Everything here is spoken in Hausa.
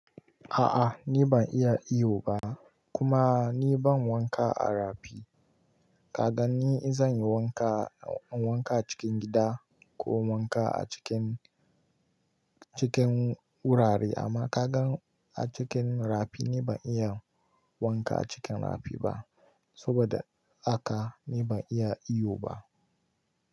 A'a, ni ban iya iyo ba kuma ni ban wanka a rafi. Kaga ni in zan yi wanka, wanka a cikin gida ko wanka a cikin, cikin wurare amma ka gan a cikin rafi ni ban iya wanka a cikin rafi ba saboda haka ni ban iya iyo ba.